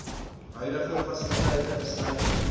huidige fasiliteite insluitend